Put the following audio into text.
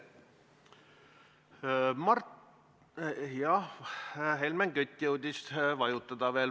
Helmen Kütt jõudis veel nupule vajutada.